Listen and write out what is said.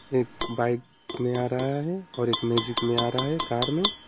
एक बाइक में आ रहा है और एक मैजिक में आ रहा है कार में।